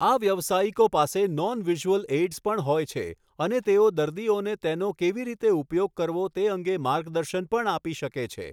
આ વ્યવસાયિકો પાસે નોન વિઝ્યુઅલ એઇડ્સ પણ હોય છે, અને તેઓ દર્દીઓને તેનો કેવી રીતે ઉપયોગ કરવો તે અંગે માર્ગદર્શન પણ આપી શકે છે.